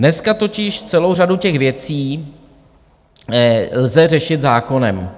Dneska totiž celou řadu těch věcí lze řešit zákonem.